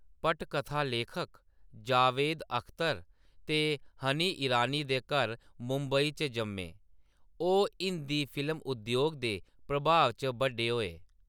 पटकथा लेखक जावेद अख्तर ते हनी ईरानी दे घर मुंबई च जम्मे, ओह्‌‌ हिंदी फिल्म उद्योग दे प्रभाव च बड्डे होए।